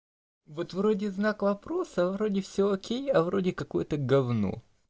вот вроде знак вопроса вроде всё окей а вроде какое-то говно